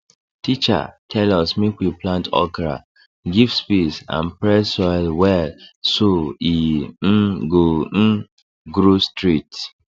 teacher tell us make we plant okra give space and press soil well so e um go um grow straight